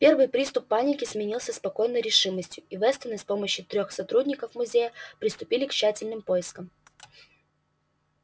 первый приступ паники сменился спокойной решимостью и вестоны с помощью трёх сотрудников музея приступили к тщательным поискам